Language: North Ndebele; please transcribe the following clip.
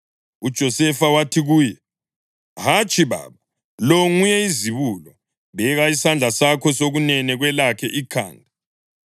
UJosefa wathi kuye, “Hatshi, baba, lo nguye izibulo; beka isandla sakho sokunene kwelakhe ikhanda.”